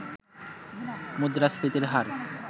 মুদ্রাস্ফীতির হার